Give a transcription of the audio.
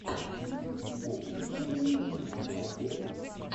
видеорецепт другого мира у тебя будет